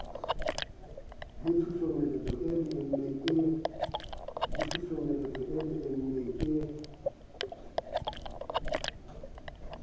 le tshusumetso e leeme e